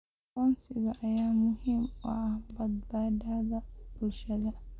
Aqoonsiga ayaa muhiim u ah badbaadada bulshada.